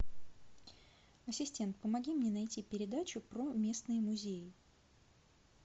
ассистент помоги мне найти передачу про местные музеи